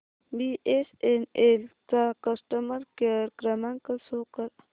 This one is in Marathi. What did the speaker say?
बीएसएनएल चा कस्टमर केअर क्रमांक शो कर